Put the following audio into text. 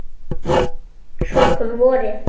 Svo kom vorið.